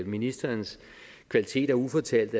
ministerens kvaliteter ufortalt